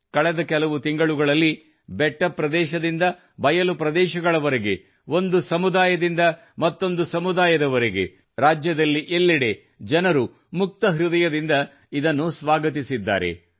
ಕಳೆದ ಕೆಲವು ತಿಂಗಳಲ್ಲಿ ಬೆಟ್ಟ ಪ್ರದೇಶದಿಂದ ಬಯಲು ಪ್ರದೇಶಗಳವರೆಗೆ ಒಂದು ಸಮುದಾಯದಿಂದ ಮತ್ತೊಂದು ಸಮುದಾಯದವರೆಗೆ ರಾಜ್ಯದಲ್ಲಿ ಎಲ್ಲೆಡೆ ಜನರು ಮುಕ್ತ ಹೃದಯದಿಂದ ಇದನ್ನು ಸ್ವಾಗತಿಸಿದ್ದಾರೆ